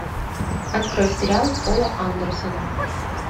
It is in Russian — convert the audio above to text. открой сериал пола андерсена